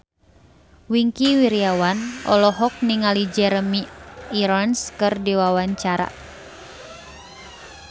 Wingky Wiryawan olohok ningali Jeremy Irons keur diwawancara